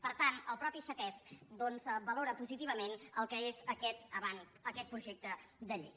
per tant el mateix ctesc doncs valora positivament el que és aquest projecte de llei